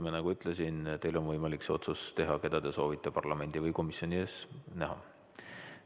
Nagu ma ütlesin, teil on võimalik see otsus teha, keda te soovite parlamendi või komisjoni ees näha.